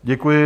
Děkuji.